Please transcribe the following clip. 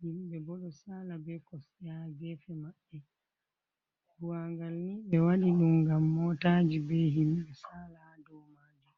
himɓe bo ɗo saala be koste ha gefe maɓɓe, buwangal ni ɓe waɗi ɗum ngam motaji be himɓe saala dow majum.